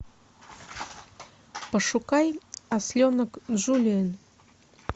пошукай осленок джулиэн